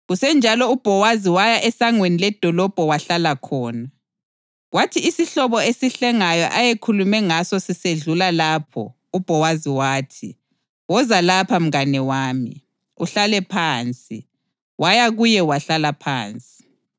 Kusenjalo uBhowazi waya esangweni ledolobho wahlala lapho. Kwathi isihlobo esihlengayo ayekhulume ngaso sisedlula lapho, uBhowazi wathi, “Woza lapha mngane wami, uhlale phansi.” Waya kuye wahlala phansi.